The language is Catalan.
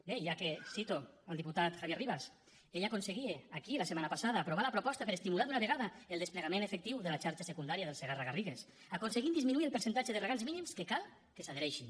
bé i ja que cito el diputat javier rivas ell aconseguia aquí la setmana passada aprovar la proposta per estimular d’una vegada el desplegament efectiu de la xarxa secundària del segarra garrigues aconseguint disminuir el percentatge de regants mínims que cal que s’hi adhereixin